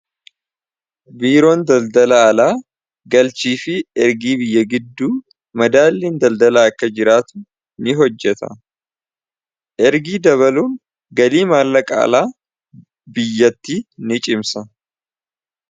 biiroon daldala alaa galchii fi ergii biyya gidduu madaaliin daldalaa akka jiraatu ni hojjeta ergii dabaluun galii maalla qaalaa biyyatti ni cimsa